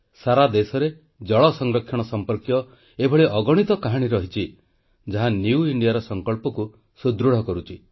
ସାରା ଦେଶରେ ଜଳ ସଂରକ୍ଷଣ ସମ୍ପର୍କୀୟ ଏଭଳି ଅଗଣିତ କାହାଣୀ ରହିଛି ଯାହା ନ୍ୟୁ ଇଣ୍ଡିଆର ସଂକଳ୍ପକୁ ସୁଦୃଢ଼ କରୁଛି